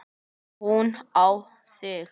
Og hún á þig.